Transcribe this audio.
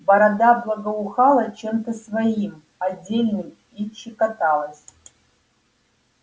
борода благоухала чем-то своим отдельным и чекоталась